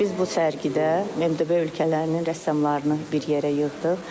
Biz bu sərgidə MDB ölkələrinin rəssamlarını bir yerə yığdıq.